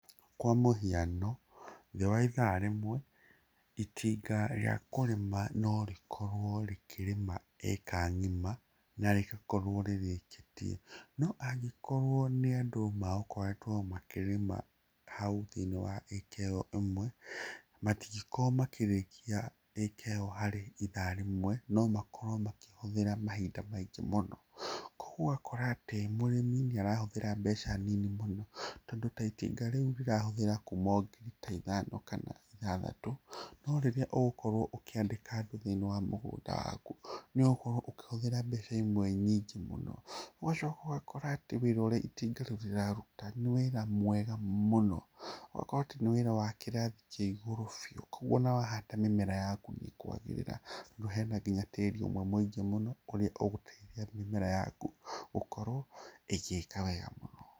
Kwa mũhiano thĩ wa ĩthaa rĩmwe ĩtinga rĩa kũrĩma norĩkorwo rĩkĩrĩma ĩka ng'ima na rĩgakorwo rĩrĩkĩtie. No angĩkorwo nĩ andũ megũkorwo makĩrĩma hau thĩiniĩ wa ĩka ĩyo ĩmwe matingikorwo makĩrĩkia ĩka ĩyo harĩ ĩtha rĩmwe nomakorwo makĩhũthĩra mahinda maingĩ mũno. Koguo ũgakora atĩ mũrĩmi nĩ arahũthĩra mbeca nini mũno, tondũ ta ĩtinga rĩu rĩrahũthĩra kuma o ngiri ta ithano kana ĩthathatũ no rĩrĩa ũgũkorwo ũkĩandĩka andũ thĩiniĩ wa mũgũnda waku, nĩ ũgũkorwo ũkĩhũthĩra mbeca imwe nyingĩ mũno. Ũgacoka ũgakora atĩ wĩra ũrĩa ĩtinga rĩu rĩraruta nĩ wĩra mwega mũno, ũgakorwo atĩ nĩ wĩra wa kĩrathi kĩa igũrũ niũ, koguo ona wahanda mĩmera yaku nĩ ĩkwagĩrĩra tondũ hena nginya tĩri ũmwe mũingĩ mũno, kũrĩa ũgũteithia mĩmera yaku gũkorwo ĩgĩka wega mũno.